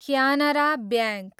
Canara bank